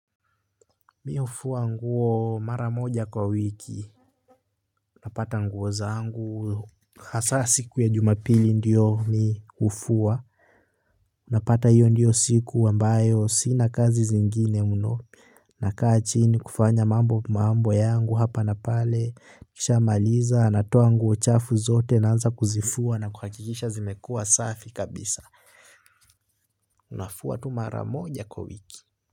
Mi hufuwa nguo mara moja kwa wiki napata nguo zangu hasa siku ya jumapili ndiyo mimi hufuwa napata hiyo ndiyo siku ambayo sina kazi zingine mno nakaa chini kufanya mambo yangu hapa na pale nikisha maliza natoa nguo chafu zote naanza kuzifua na kuhakikisha zimekua safi kabisa nafua tu mara moja kwa wiki.